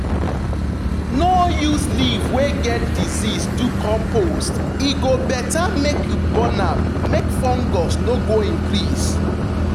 no use leaf wey get disease do compost; e better make you burn am make fungus no go increase.